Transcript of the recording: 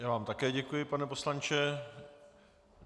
Já vám také děkuji, pane poslanče.